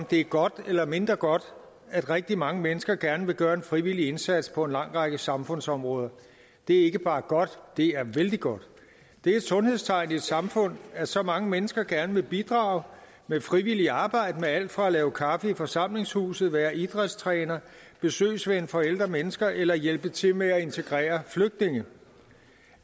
det er godt eller mindre godt at rigtig mange mennesker gerne vil gøre en frivillig indsats på en lang række samfundsområder det er ikke bare godt det er vældig godt det er et sundhedstegn i et samfund at så mange mennesker gerne vil bidrage med frivilligt arbejde med alt fra at lave kaffe i forsamlingshuset være idrætstræner besøgsven for ældre mennesker eller hjælpe til med at integrere flygtninge